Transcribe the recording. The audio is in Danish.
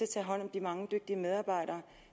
tager hånd om de mange dygtige medarbejdere